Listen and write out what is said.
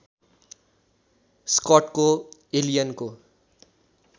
स्कटको एलियनको